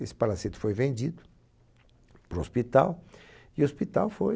Esse palacete foi vendido para o hospital e o hospital foi...